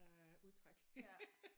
Ja udtræk